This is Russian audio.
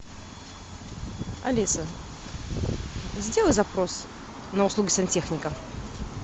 алиса сделай запрос на услугу сантехника